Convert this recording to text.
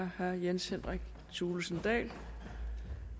herre jens henrik thulesen dahl